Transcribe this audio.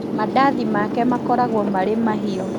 Mandathi make makoragwo marĩ mahĩu